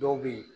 Dɔw bɛ yen